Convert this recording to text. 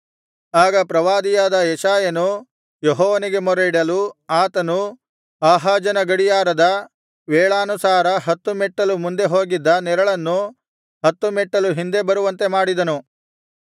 ಆಗ ಪ್ರವಾದಿಯಾದ ಯೆಶಾಯನು ಯೆಹೋವನಿಗೆ ಮೊರೆಯಿಡಲು ಆತನು ಆಹಾಜನ ಗಡಿಯಾರದ ವೇಳಾನುಸಾರ ಹತ್ತು ಮೆಟ್ಟಲು ಮುಂದೆ ಹೋಗಿದ್ದ ನೆರಳನ್ನು ಹತ್ತು ಮೆಟ್ಟಲು ಹಿಂದೆ ಬರುವಂತೆ ಮಾಡಿದನು